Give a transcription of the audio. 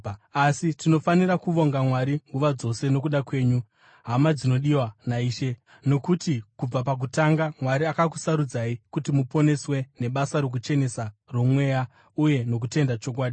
Asi tinofanira kuvonga Mwari nguva dzose nokuda kwenyu, hama dzinodiwa naIshe, nokuti kubva pakutanga Mwari akakusarudzai kuti muponeswe nebasa rokuchenesa roMweya uye nokutenda chokwadi.